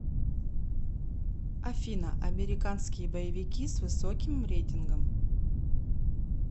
афина американские боевики с высоким реитингом